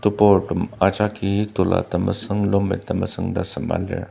teburtem ajaki tola temesüng longpant temesüng ta sema lir.